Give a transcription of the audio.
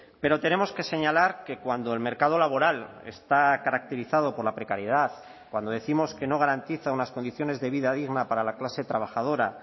pero tenemos que señalar que cuando el mercado laboral está caracterizado por la precariedad cuando décimos que no garantiza unas condiciones de vida digna para la clase trabajadora